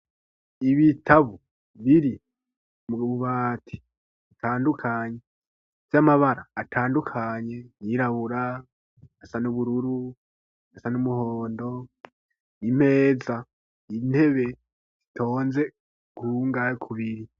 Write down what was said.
Ibitabo biri mu bubati atandukanye vy'amabara atandukanye ayirabura asa n ubururu asa n'umuhondo n'impeza intebe zitonze ku biri.